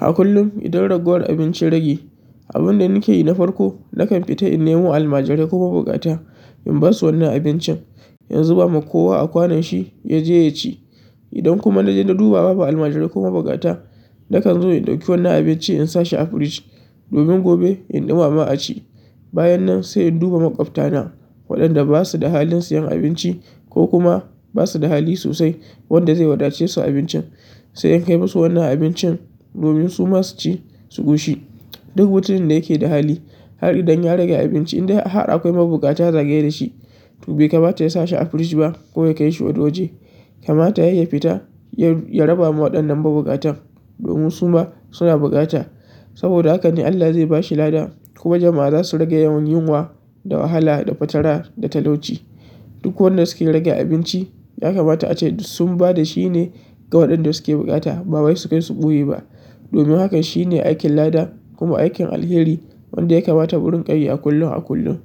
A kullum idan ragowar abinci ya rage, abunda nake yi na farko nakan fita in nemo almajirai kuma buƙata in basu wannan abincin, in zuba ma kowa a kwanon shi ya je ya ci. Idan kuma na je na duba babu almajirai ko ma buƙata, nakan zo in ɗauki wannan abinci in sashi a firij domin gobe in ɗumama a ci. Bayan nan sai in duba maƙwabta na waɗanda basu da halin siyan abinci ko kuma basu da hali sosai wanda zai wadace su abincin, sai in kai musu wannan abincin domin su ma su ci su ƙoshi. Duk mutumin da yake da hali har idan ya rage abinci indai har akwai ma buƙata zagaye dashi, to bai kamata ya sashi a firij ba ko ya kai shi wani-waje. Kamata yai ya fita ya raba ma waɗannan ma buƙatan domin su ma suna bukata. Saboda haka ne Allah zai bashi lada kuma jama'a zasu rage yawan yunwa da wahala da fatara da talauci. Duk wanda suke rage abinci ya kamata ace dus sun ba da shine ga waɗanda suke buƙata ba wai su kai su ɓoye ba. Domin hakan shine aikin lada kuma aikin alheri wanda ya kamata murin ƙa yi a kullum a kullum.